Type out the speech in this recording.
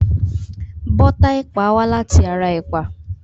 Bọ́tà ẹ̀pà wá láti ara ẹ̀pà.